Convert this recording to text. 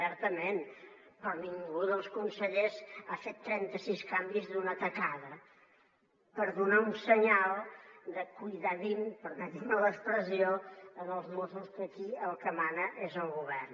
certament però ningú dels consellers ha fet trenta sis canvis d’una tacada per donar un senyal de cuidadín permetin me l’expressió als mossos que aquí el que mana és el govern